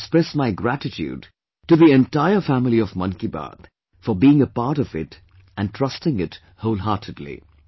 I express my gratitude to the entire family of 'Mann Ki Baat' for being a part of it & trusting it wholeheartedly